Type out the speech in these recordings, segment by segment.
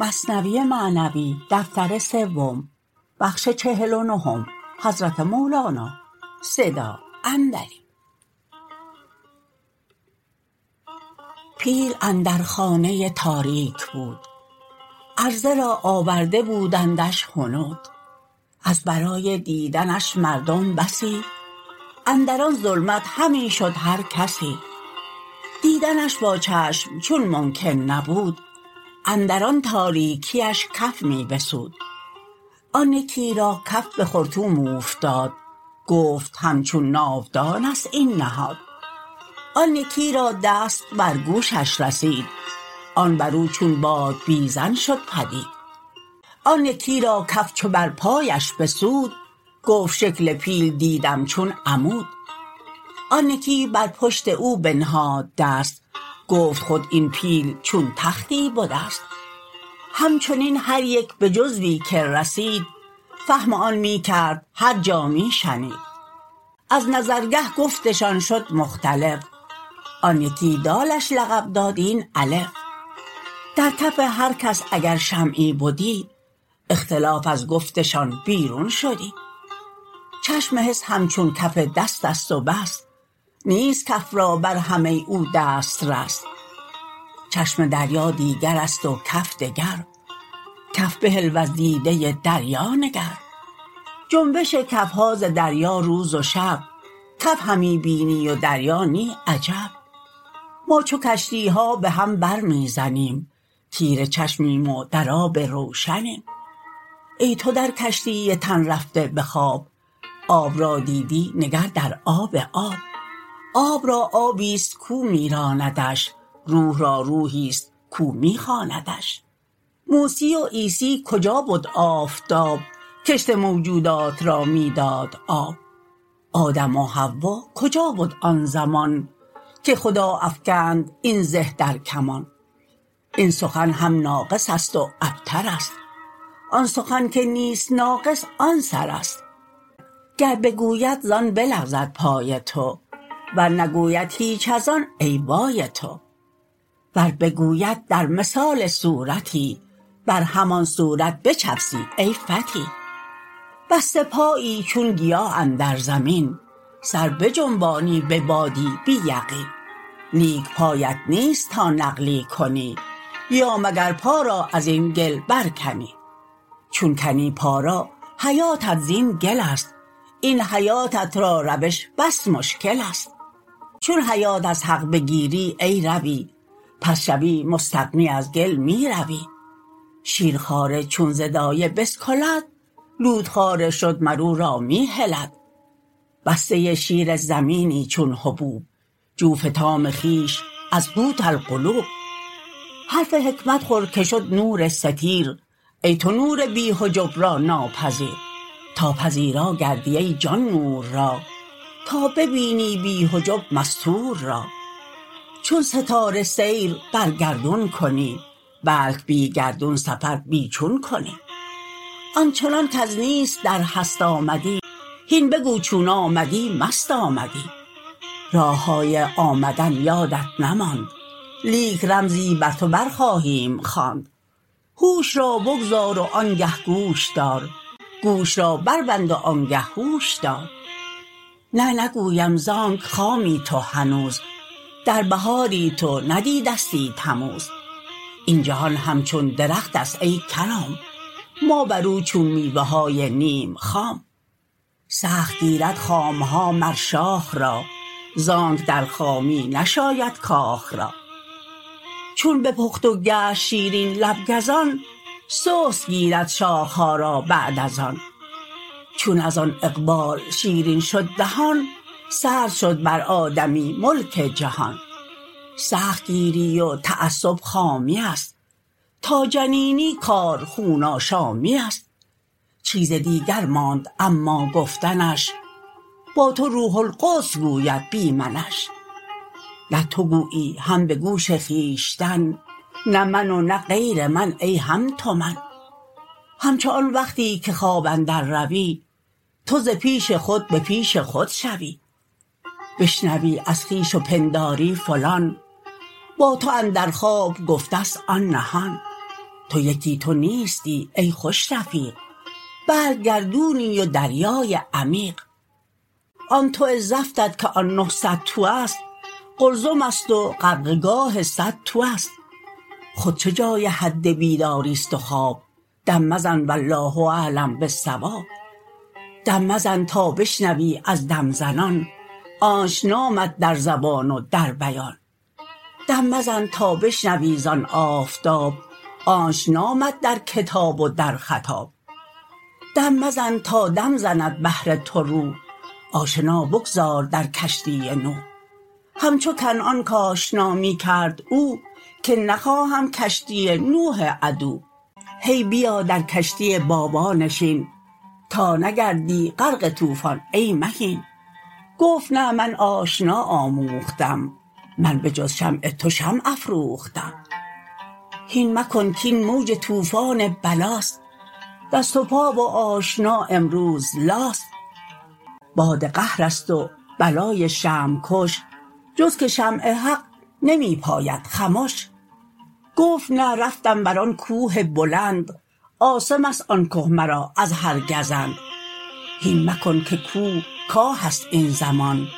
پیل اندر خانه تاریک بود عرضه را آورده بودندش هنود از برای دیدنش مردم بسی اندر آن ظلمت همی شد هر کسی دیدنش با چشم چون ممکن نبود اندر آن تاریکیش کف می بسود آن یکی را کف به خرطوم اوفتاد گفت همچون ناودانست این نهاد آن یکی را دست بر گوشش رسید آن برو چون بادبیزن شد پدید آن یکی را کف چو بر پایش بسود گفت شکل پیل دیدم چون عمود آن یکی بر پشت او بنهاد دست گفت خود این پیل چون تختی بدست همچنین هر یک به جزوی که رسید فهم آن می کرد هر جا می شنید از نظرگه گفتشان شد مختلف آن یکی دالش لقب داد این الف در کف هر کس اگر شمعی بدی اختلاف از گفتشان بیرون شدی چشم حس همچون کف دستست و بس نیست کف را بر همه ی او دست رس چشم دریا دیگرست و کف دگر کف بهل وز دیده دریا نگر جنبش کف ها ز دریا روز و شب کف همی بینی و دریا نی عجب ما چو کشتی ها به هم بر می زنیم تیره چشمیم و در آب روشنیم ای تو در کشتی تن رفته به خواب آب را دیدی نگر در آب آب آب را آبیست کو می راندش روح را روحیست کو می خواندش موسی و عیسی کجا بد کآفتاب کشت موجودات را می داد آب آدم و حوا کجا بد آن زمان که خدا افکند این زه در کمان این سخن هم ناقص است و ابترست آن سخن که نیست ناقص آن سرست گر بگوید زان بلغزد پای تو ور نگوید هیچ از آن ای وای تو ور بگوید در مثال صورتی بر همان صورت بچفسی ای فتی بسته پایی چون گیا اندر زمین سر بجنبانی به بادی بی یقین لیک پایت نیست تا نقلی کنی یا مگر پا را ازین گل بر کنی چون کنی پا را حیاتت زین گلست این حیاتت را روش بس مشکلست چون حیات از حق بگیری ای روی پس شوی مستغنی از گل می روی شیر خواره چون ز دایه بسکلد لوت خواره شد مر او را می هلد بسته شیر زمینی چون حبوب جو فطام خویش از قوت القلوب حرف حکمت خور که شد نور ستیر ای تو نور بی حجب را ناپذیر تا پذیرا گردی ای جان نور را تا ببینی بی حجب مستور را چون ستاره سیر بر گردون کنی بلک بی گردون سفر بی چون کنی آنچنان کز نیست در هست آمدی هین بگو چون آمدی مست آمدی راه های آمدن یادت نماند لیک رمزی بر تو بر خواهیم خواند هوش را بگذار و آنگه گوش دار گوش را بر بند و آنگه هوش دار نه نگویم زانک خامی تو هنوز در بهاری تو ندیدستی تموز این جهان همچون درختست ای کرام ما برو چون میوه های نیم خام سخت گیرد خام ها مر شاخ را زانک در خامی نشاید کاخ را چون بپخت و گشت شیرین لب گزان سست گیرد شاخ ها را بعد از آن چون از آن اقبال شیرین شد دهان سرد شد بر آدمی ملک جهان سخت گیری و تعصب خامی است تا جنینی کار خون آشامی است چیز دیگر ماند اما گفتنش با تو روح القدس گوید بی منش نه تو گویی هم به گوش خویشتن نه من و نه غیر من ای هم تو من همچو آن وقتی که خواب اندر روی تو ز پیش خود به پیش خود شوی بشنوی از خویش و پنداری فلان با تو اندر خواب گفته ست آن نهان تو یکی تو نیستی ای خوش رفیق بلک گردونی و دریای عمیق آن تو زفتت که آن نهصد تو است قلزمست و غرقه گاه صد تو است خود چه جای حد بیداریست و خواب دم مزن والله اعلم بالصواب دم مزن تا بشنوی از دم زنان آنچ نامد در زبان و در بیان دم مزن تا بشنوی زان آفتاب آنچ نامد در کتاب و در خطاب دم مزن تا دم زند بهر تو روح آشنا بگذار در کشتی نوح همچو کنعان کآشنا می کرد او که نخواهم کشتی نوح عدو هی بیا در کشتی بابا نشین تا نگردی غرق طوفان ای مهین گفت نه من آشنا آموختم من به جز شمع تو شمع افروختم هین مکن کین موج طوفان بلاست دست و پا و آشنا امروز لاست باد قهرست و بلای شمع کش جز که شمع حق نمی پاید خمش گفت نه رفتم برآن کوه بلند عاصمست آن که مرا از هر گزند هین مکن که کوه کاهست این زمان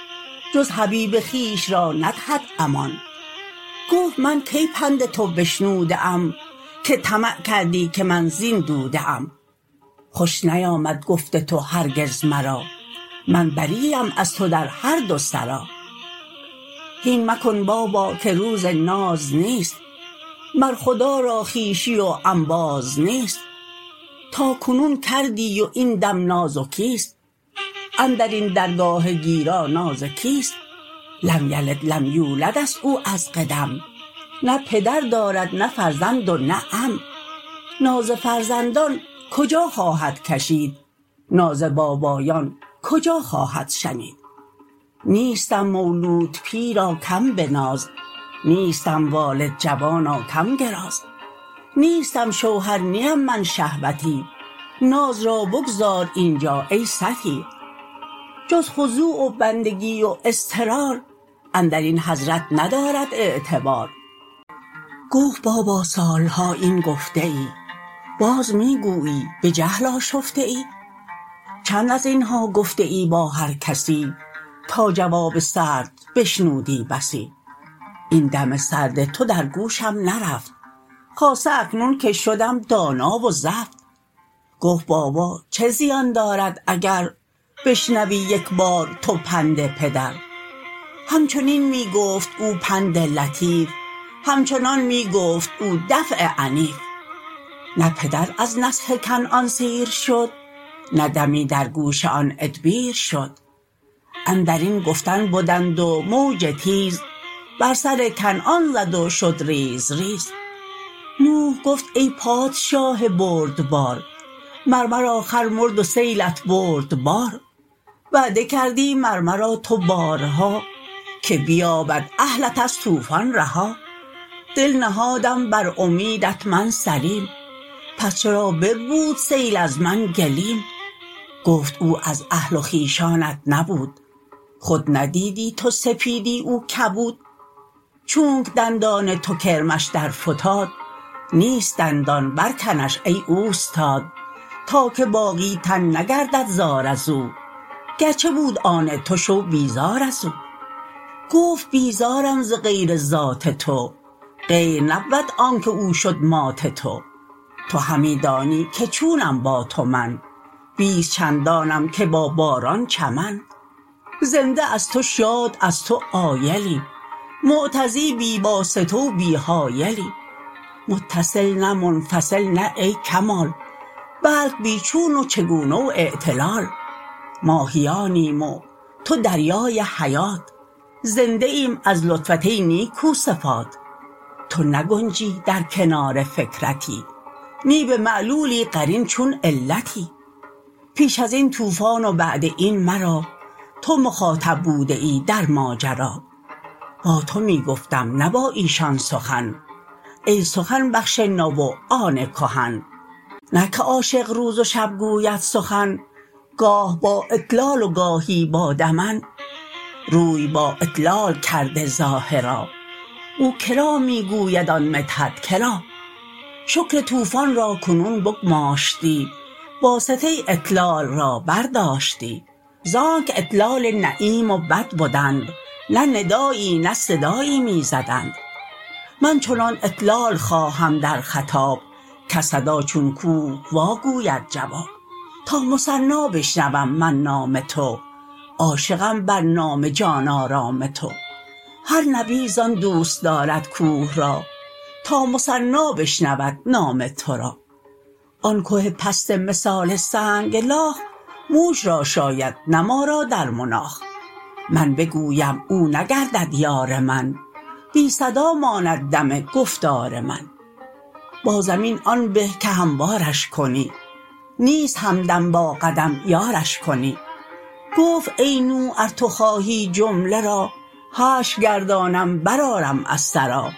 جز حبیب خویش را ندهد امان گفت من کی پند تو بشنوده ام که طمع کردی که من زین دوده ام خوش نیامد گفت تو هرگز مرا من بری ام از تو در هر دو سرا هین مکن بابا که روز ناز نیست مر خدا را خویشی و انباز نیست تا کنون کردی و این دم نازکیست اندرین درگاه گیرا ناز کیست لم یلد لم یولدست او از قدم نه پدر دارد نه فرزند و نه عم ناز فرزندان کجا خواهد کشید ناز بابایان کجا خواهد شنید نیستم مولود پیرا کم بناز نیستم والد جوانا کم گراز نیستم شوهر نیم من شهوتی ناز را بگذار اینجا ای ستی جز خضوع و بندگی و اضطرار اندرین حضرت ندارد اعتبار گفت بابا سال ها این گفته ای باز می گویی به جهل آشفته ای چند ازین ها گفته ای با هرکسی تا جواب سرد بشنودی بسی این دم سرد تو در گوشم نرفت خاصه اکنون که شدم دانا و زفت گفت بابا چه زیان دارد اگر بشنوی یکبار تو پند پدر همچنین می گفت او پند لطیف همچنان می گفت او دفع عنیف نه پدر از نصح کنعان سیر شد نه دمی در گوش آن ادبیر شد اندرین گفتن بدند و موج تیز بر سر کنعان زد و شد ریز ریز نوح گفت ای پادشاه بردبار مر مرا خر مرد و سیلت برد بار وعده کردی مر مرا تو بارها که بیابد اهلت از طوفان رها دل نهادم بر امیدت من سلیم پس چرا بربود سیل از من گلیم گفت او از اهل و خویشانت نبود خود ندیدی تو سپیدی او کبود چونک دندان تو کرمش در فتاد نیست دندان بر کنش ای اوستاد تا که باقی تن نگردد زار ازو گرچه بود آن تو شو بیزار ازو گفت بیزارم ز غیر ذات تو غیر نبود آنک او شد مات تو تو همی دانی که چونم با تو من بیست چندانم که با باران چمن زنده از تو شاد از تو عایلی مغتذی بی واسطه و بی حایلی متصل نه منفصل نه ای کمال بلک بی چون و چگونه و اعتلال ماهیانیم و تو دریای حیات زنده ایم از لطفت ای نیکو صفات تو نگنجی در کنار فکرتی نی به معلولی قرین چون علتی پیش ازین طوفان و بعد این مرا تو مخاطب بوده ای در ماجرا با تو می گفتم نه با ایشان سخن ای سخن بخش نو و آن کهن نه که عاشق روز و شب گوید سخن گاه با اطلال و گاهی با دمن روی با اطلال کرده ظاهرا او کرا می گوید آن مدحت کرا شکر طوفان را کنون بگماشتی واسطه ی اطلال را بر داشتی زانک اطلال لییم و بد بدند نه ندایی نه صدایی می زدند من چنان اطلال خواهم در خطاب کز صدا چون کوه واگوید جواب تا مثنا بشنوم من نام تو عاشقم بر نام جان آرام تو هر نبی زان دوست دارد کوه را تا مثنا بشنود نام تو را آن که پست مثال سنگ لاخ موش را شاید نه ما را در مناخ من بگویم او نگردد یار من بی صدا ماند دم گفتار من با زمین آن به که هموارش کنی نیست همدم با قدم یارش کنی گفت ای نوح ار تو خواهی جمله را حشر گردانم بر آرم از ثری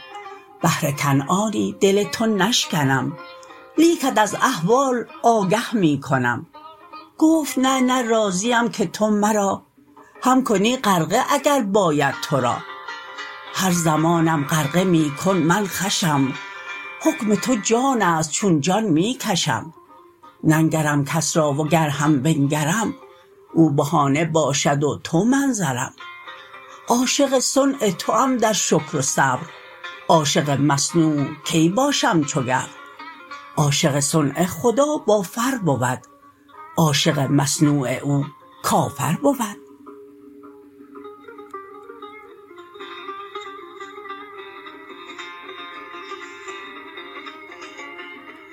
بهر کنعانی دل تو نشکنم لیکت از احوال آگه می کنم گفت نه نه راضیم که تو مرا هم کنی غرقه اگر باید تو را هر زمانم غرقه می کن من خوشم حکم تو جانست چون جان می کشم ننگرم کس را و گر هم بنگرم او بهانه باشد و تو منظرم عاشق صنع توم در شکر و صبر عاشق مصنوع کی باشم چو گبر عاشق صنع خدا با فر بود عاشق مصنوع او کافر بود